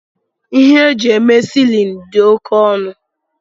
Ihe e ji eme silini di oke onu